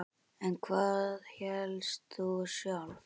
En hvað hélst þú sjálf?